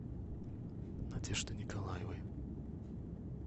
надеждой николаевой